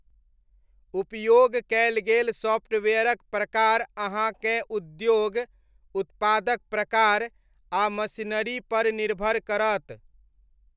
उपयोग कयल गेल सॉफ्टवेयरक प्रकार अहाँकेँ उद्योग, उत्पादक प्रकार, आ मशीनरीपर निर्भर करत।